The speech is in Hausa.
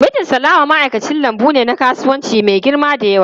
Mijin Salama ma'aikacin lambu ne na kasuwanci mai girba da yawa.